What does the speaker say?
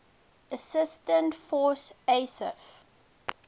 assistance force isaf